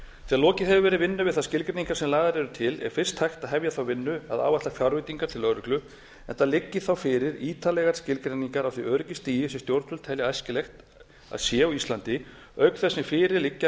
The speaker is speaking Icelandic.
þegar lokið hefur verið vinnu við þær skilgreiningar sem lagðar eru til er fyrst hægt að hefja þá vinnu að áætla fjárveitingar til lögreglu enda liggi þá fyrir ítarlegar skilgreiningar á því öryggisstigi sem stjórnvöld telja æskilegt að sé á íslandi auk þess sem fyrir liggja